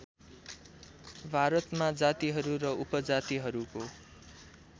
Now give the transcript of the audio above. भारतमा जातिहरू र उपजातिहरूको